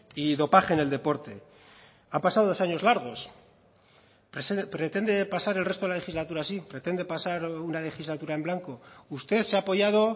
y dopaje en el deporte ha pasado dos años largos pretende pasar el resto de la legislatura así pretende pasar una legislatura en blanco usted se ha apoyado